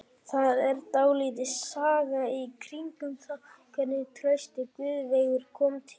Það er dálítil saga í kringum það hvernig Trausti Guðveigur kom til okkar.